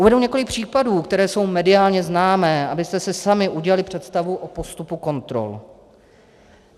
Uvedu několik případů, které jsou mediálně známé, abyste si sami udělali představu o postupu kontrol.